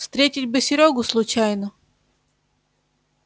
встретить бы серёгу случайно